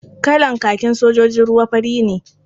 Kalar kakin sojojin ruwa fari ne.